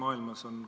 Arutelukohti jätkub.